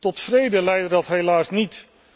Tot vrede leidde dat helaas niet.